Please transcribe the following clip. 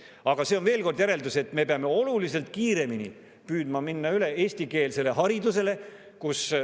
Aga siit tuleneb veel kord järeldus, et me peame oluliselt kiiremini püüdma minna üle eestikeelsele haridusele.